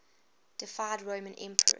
deified roman emperors